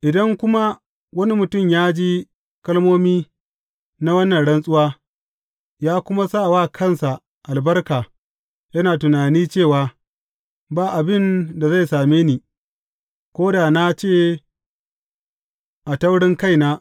Idan kuma wani mutum ya ji kalmomi na wannan rantsuwa, ya kuma sa wa kansa albarka yana tunani cewa, Ba abin da zai same ni, ko da na nace a taurinkaina.